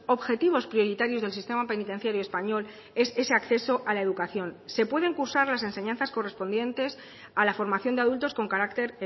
objetivos prioritarios del sistema penitenciario español es ese acceso a la educación se pueden cursar las enseñanzas correspondientes a la formación de adultos con carácter